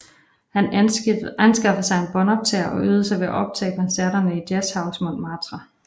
Han anskaffede sig en båndoptager og øvede sig ved at optage koncerterne i Jazzhus Montmartre